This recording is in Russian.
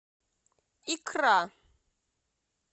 икра